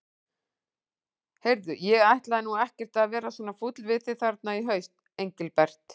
Heyrðu. ég ætlaði nú ekkert að vera svona fúll við þig þarna í haust, Engilbert.